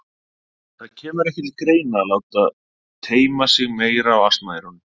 Það kemur ekki til greina að láta teyma sig meira á asnaeyrunum.